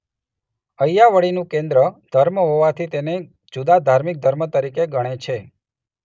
અય્યાવળીનું કેન્દ્ર ધર્મ હોવાથી ઘણા તેને જુદા ધાર્મિક ધર્મ તરીકે ગણે છે.